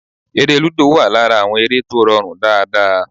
Eré lúdò wà lára àwọn eré tó rọrùn dáadáa